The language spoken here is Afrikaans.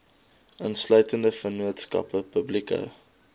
insluitende vennootskappe publieke